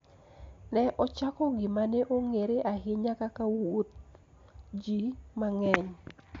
Ne ochako gima ne ong'ere ahinya kaka wuodh ji mang'eny.